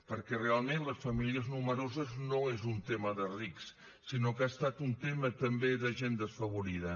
perquè realment les famílies nombroses no és un tema de rics sinó que ha estat un tema també de gent desfavorida